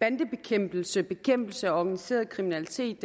bandebekæmpelse bekæmpelse af organiseret kriminalitet